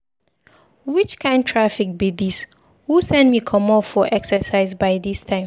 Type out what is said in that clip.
Which kin traffic be dis? Who send me come out for exercise by dis time?